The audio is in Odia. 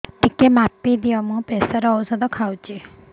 ଟିକେ ମାପିଦିଅ ମୁଁ ପ୍ରେସର ଔଷଧ ଖାଉଚି